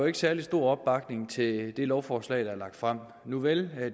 er særlig stor opbakning til det lovforslag der er fremsat nuvel